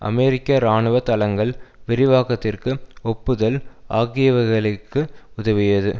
அமெரிக்க இராணுவ தளங்கள் விரிவாக்கத்திற்கு ஒப்புதல் ஆகியவைகளுக்கு உதவியது